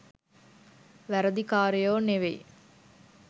වැරදි කාරයෝ නෙවෙයි.